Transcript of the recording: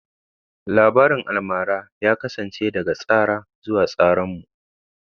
Labarin almara ya kasance daga tsara zuwa tsaranmu.